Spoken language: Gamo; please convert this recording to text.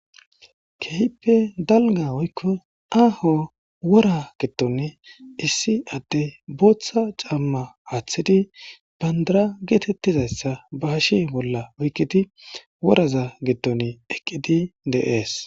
Kehippe dalgga woykko aho worra giddoni issi addey botha camma athidi bandirra getetizayssa ba hashe bollan oyqqidi worazza giddon eqqidi de's.